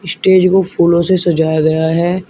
Stage को फूलों से सजाया गया है।